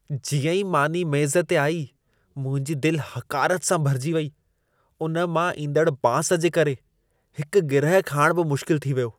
जीअं ई मानी मेज़ु ते आई, मुंहिंजी दिलि हक़ारत सां भरिजी वई। उन मां ईंदड़ बांस जे करे, हिकु गिरहु खाइणु बि मुश्किल थी वियो।